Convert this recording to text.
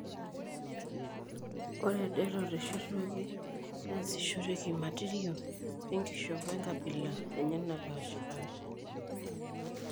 Ore det, oteshetuaki neasishoreki imatirio enkishopo enkabila enye naapaashipaasha.